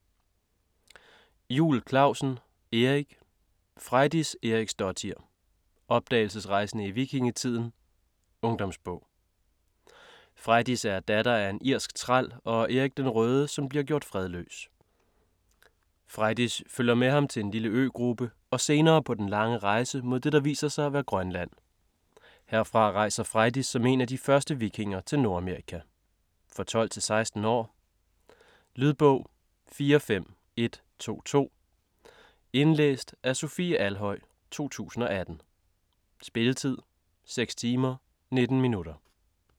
Juul Clausen, Erik: Frejdis Eriksdottir: opdagelsesrejsende i vikingetiden: ungdomsbog Frejdis er datter af en irsk træl og Erik den Røde som bliver gjort fredløs. Frejdis følger med ham til en lille øgruppe, og senere på den lange rejse mod det der viser sig at være Grønland. Herfra rejser Frejdis som en af de første vikinger til Nordamerika. For 12-16 år. Lydbog 45122 Indlæst af Sofie Alhøj, 2018. Spilletid: 6 timer, 19 minutter.